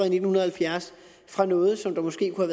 i nitten halvfjerds fra noget som der måske kunne